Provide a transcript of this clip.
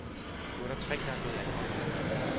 Nu er der tre der er blevet anholdt.